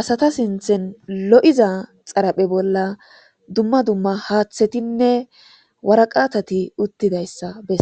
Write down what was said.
asata sinthen lo7iza xaraphe bolla dumma dumma haaththetinne waraqatati uttidayssa besse